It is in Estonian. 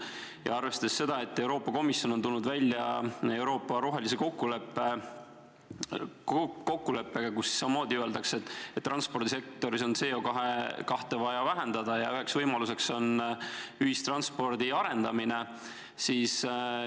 Ja arvestada tuleb ka seda, et Euroopa Komisjon on tulnud välja Euroopa rohelise kokkuleppega, kus öeldakse, et transpordisektoris on CO2 vaja vähendada ja üks võimalus on ühistranspordi arendamine.